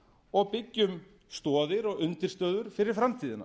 og byggjum stoðir og undirstöður fyrir framtíðina